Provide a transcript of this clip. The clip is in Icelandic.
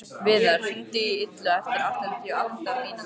Viðar, hringdu í Illuga eftir áttatíu og átta mínútur.